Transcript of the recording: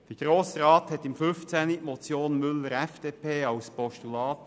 Im Jahr 2015 überwies der Grosse Rat die Motion Müller/FDP als Postulat.